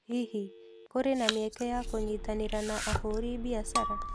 Hihi, kũrĩ na mĩeke ya kũnyitanĩra na ahũri biashara?